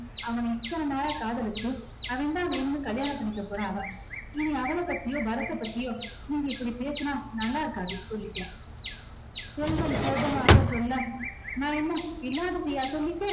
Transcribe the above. அவன இத்தனை நாளா காதலிச்சு அவன்தான் வேணும்னு கல்யாணம் பண்ணிக்க போறா அவ. இனி அவள பத்தியோ பரத்தைப் பத்தியோ நீங்க இப்படி பேசினா நல்லா இருக்காது சொல்லிட்டேன். செல்வம் கோபமாக சொல்ல நான் என்ன இல்லாததயா சொல்லிட்டேன்